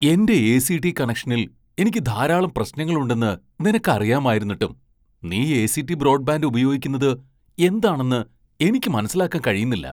എന്റെ എ.സി.ടി. കണക്ഷനിൽ എനിക്ക് ധാരാളം പ്രശ്നങ്ങളുണ്ടെന്ന് നിനക്ക് അറിയാമായിരുന്നിട്ടും നീ എ.സി .ടി .ബ്രോഡ്ബാൻഡ് ഉപയോഗിക്കുന്നത് എന്താണെന്ന് എനിക്ക് മനസ്സിലാക്കാൻ കഴിയുന്നില്ല.